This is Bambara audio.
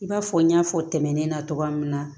I b'a fɔ n y'a fɔ tɛmɛnen na cogoya min na